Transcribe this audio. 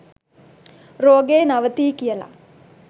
රෝගය නවතියි කියල